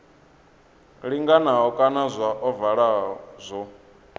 linganaho kana zwa ovala zwo